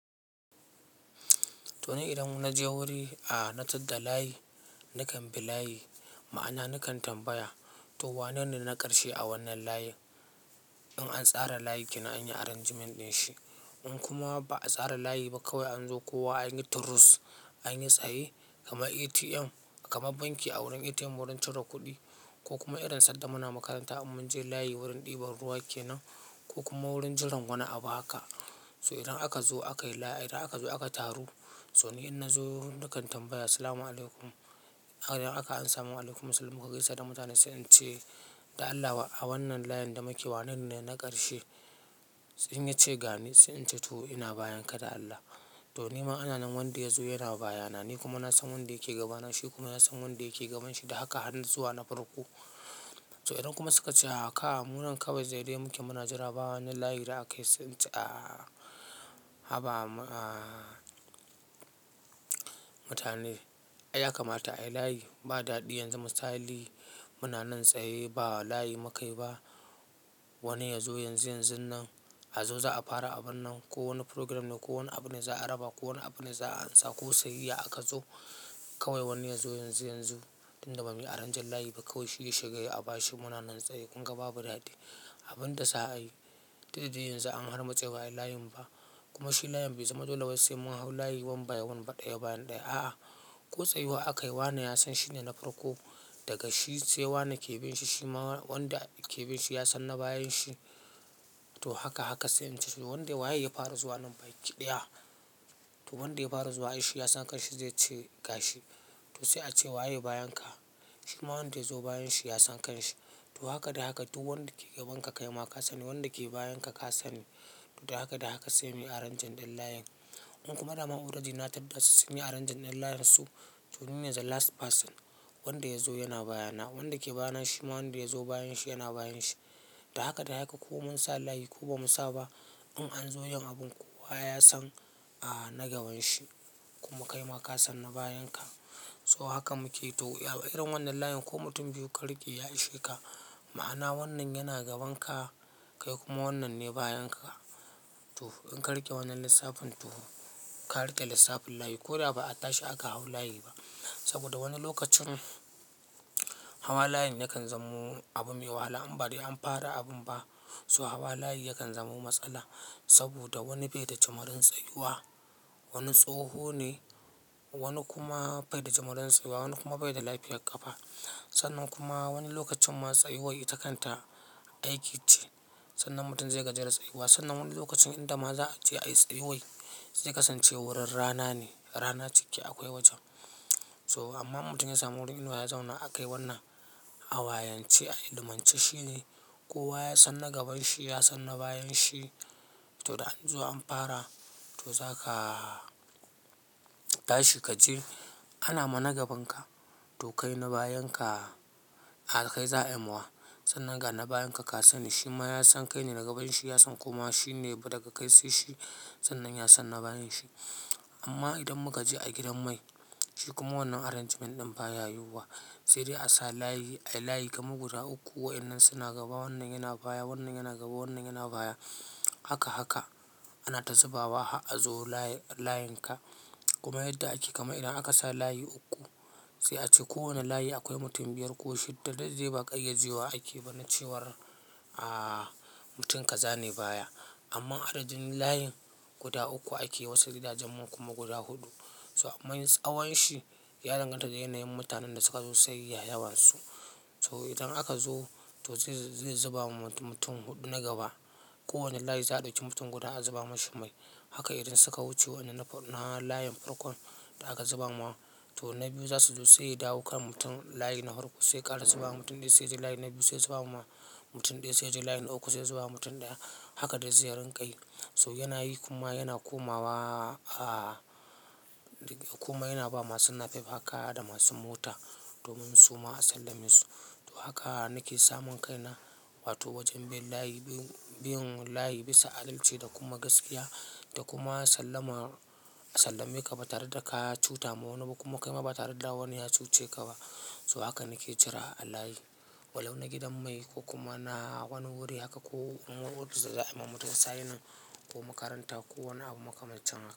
Toni idan naje wuri a na tadda layi, nakan bi layi, ma'ana nakan tambaya to wanene na ƙarshe a wannan layin? In an tsara layi kenan anyii arrangement dinshi. In kuma ba'a tsara layi ba kawai anzo kowa anyi turus anyi tsaye, kamar ATM, kamar banki a wurin ATM wurin cire kuɗi, ko kuma irin sadda muna makaranta in munje layi wurin ɗiban ruwa kenan, ko kuma wurin jiran wani abu haka. So idan aka zo aka yi layi, idan aka zo aka taru. So ni inna zo nakan tambaya "Assalamu alaikum", idan aka amsa "Waalaikum assalam", muka gaisa da mutanen sai ince "Da Allah a wannan layinda muke wanene ne na ƙarshe?" In yace gani, sai ince "to ina bayanka da Allah". Tonima ananan wanda yazo yana bayana, ni kuma nasan wanda yake gabana, shi kuma yasan wanda yake gabanshi da haka har zuwa na farko. So idan kuma sukace a haka, munan kawai zaidai muke muna jira bawani layi da akayi sai ince a haba maa mutane. Aiya kamata ayi layi, ba daɗi yanzu musali muna nan tsaye ba layi mukaiba. Wani yazo yanzu yanzunnan azo za'a fara abunnan ko wani program ne ko wani abune za'a raba ko wani abune za'a ansa ko sayayya akazo, kawai wani yazo yanzu yanzu. Inda bamuyi aranjin layiba kawai shiya shiga yayi abashi munanan tsaye kunga babu daɗi. Abunda za'a yi dukda dai yanzu an harmutse ba'a yi layinba. Kuma shi layin bai zama dole wai sai mun hau layi wan bai wan ba ɗaya baya ɗaya a'a. Ko tsayuwa akayi wane yasan shine na farko dagashi sai wane ke binshi, shima wanda ke binshi yasan na bayanshi. To haka haka sai ince wanda waye ya fara zuwa nan baki ɗaya. To wanda ya fara zuwa aishi yasan kanshi zaice gashi. To sai ace waye bayan ka. Shima wanda yazo bayanshi yasan kanshi. To haka da haka duk wanda ke gabanka kaima ka sani, wanda ke bayanka ka sani. Da haka da haka sai muyi aranjin ɗin layin. In kuma dama already na taddasu sunyi aranjin ɗin layinsu. To nine the last person wanda yazo yana baya na, wanda ke bayana shima wanda yazo bayan shi yana bayan shi. Da haka da haka ko mun sa layi ko bamu saba in anzo yin abun kowa yasan a na gabanshi kuma kaima kasan na bayanka. So haka muke to a irin wannan layin ko mutum biyu ka rike ya isheka. Ma'ana wannan yana gabanka kai kuma wannanne bayanka. To inka riƙe wannan lissafin toka riƙe lissafin layi. Ko da ba a tashi aka hau layi ba. Saboda wani lokacin hawa layin yakan zamo abu mai wahala in badai an fara abunba. So hawa layi yakan zamo matsala saboda wani baida jumurin tsayuwa, wani tsoho ne, wani kuma baida jumurin tsayuwa, wani kuma baida lafiyar ƙafa. Sannan kuma wani lokacin ma tsayuwai ita kanta aiki ce. Sannan mutum zai gaji da tsayuwa sannan wani lokacin inda ma za'a je ayi tsayuwai, zai kasance wurin rana ne, rana cike akwai wajen. So amma in mutum ya samu wurin inuwa ya zauna akai wannan a wayance a ilmance shine, kowa yasan na gabanshi yasan na bayan shi. Toda anzo an fara to zaka tashi kaji anama na gabanka to kaina bayanka kaga kai za'ayi mawa. Sannan gana bayanka ka sani shima yasan kaine na gabanshi yasan kuma shine ba daga kai sai shi sannan yasan na bayanshi. Amma idan mukaje a gidan mai shi kuma wannan arrangement ɗin baya yiwuwa, sai dai asa layi, ayi layi kamar guda uku wayannan suna gaba wannan yana baya, wannan yana gaba wannan yana baya. Haka haka, anata zubawa har azo layinka. Kuma yadda ake kamar idan akasa layi uku sai ace kowane layi akwai mutum biyar ko shidda duk zai baƙai yaje wa akeba na cewar a mutum ka zane baya. Amma adadin layin guda uku ake wasu gidajen kuma guda huɗu. To amman tsawon shi ya danganta da yanayin mutanen da sukazo sayayya yawansu. So idan akazo to zai zubawa mutum huɗu na gaba. Kowani layi za'a ɗauki mutum guda a zuba mashi mai. Haka idan suka wuce wanda na layin farkon da aka zuba mawa to na biyu za suzo saiya dawo kan mutum layi na farko sai ƙara zuba ma mutum ɗaya sai yaje layi na biyu sai zuba ma mutum ɗaya sai yaje layi na uku sai zuba ma mutum ɗaya. Haka dai zai rinkayi. So yanayi kuma yana komawa a kuma yanaba masu napep haka da masu mota domin suma a sallame su. To haka nake samun kaina wato wajen bin layi bin layi bisa adalci da kuma gaskiya da kuma sallama sallameka ba tareda ka cutama waniba kuma kaima ba tareda wani ya cuce kaba. So haka nake jira a layi. Walau na gidan mai ko kuma na wani wuri haka ko in office za'a yi ma mutum signing, ko makaranta ko wani abu makamancin haka.